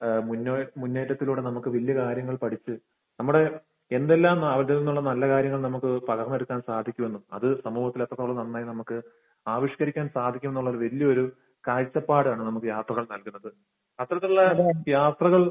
ഏഹ് മുന്നേ മുന്നേറ്റത്തിലൂടെ നമുക്ക് വലിയ കാര്യങ്ങൾ പഠിച്ച് നമ്മൾ എന്തെല്ലാം നല്ല കാര്യങ്ങളും നമുക്ക് പകർന്നെടുക്കാൻ സാധിക്കുമെന്നും അത് സമൂഹത്തിൽ എത്രത്തോളം നന്നായി നമുക്ക് ആവിഷ്കരിക്കാൻ സാധിക്കുമെന്നുള്ള ഒരു വലിയ ഒരു കാഴ്ചപ്പാടാണ് നമുക്ക് യാത്രകൾ നൽകുന്നത്. അത്തരത്തിലുള്ള അനുഭവം യാത്രകൾ